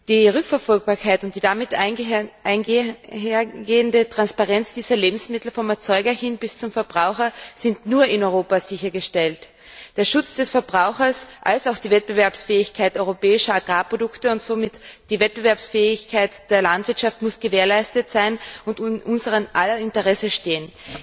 Die Rückverfolgbarkeit und die damit einhergehende Transparenz dieser Lebensmittel vom Erzeuger hin bis zum Verbraucher sind nur in Europa sichergestellt. Der Schutz der Verbraucher und die Wettbewerbsfähigkeit europäischer Agrarprodukte und somit die Wettbewerbsfähigkeit der Landwirtschaft müssen gewährleistet sein und in unser aller Interesse liegen.